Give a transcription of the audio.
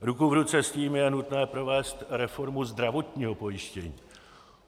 Ruku v ruce s tím je nutné provést reformu zdravotního pojištění.